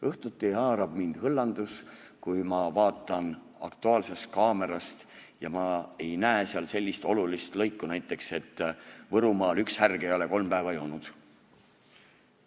Õhtuti haarab mind hõllandus, kui ma vaatan "Aktuaalset kaamerat" ja ma ei näe seal näiteks sellist olulist lõiku, et Võrumaal üks härg ei ole kolm päeva joonud.